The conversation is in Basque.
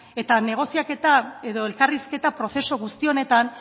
edo negoziaketa edo elkarrizketa prozesu guzti honetan